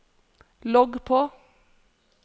logg på